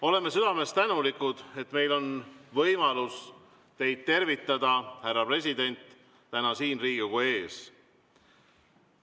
Oleme südamest tänulikud, et meil on võimalus teid tervitada, härra president, täna siin Riigikogu ees.